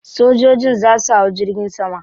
Sojojin za su hau jirgin sama.